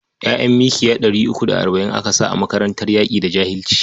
ƴa'ƴan mkiya three uku da arba'in aka sa a makarantar yaƙi da jahilci?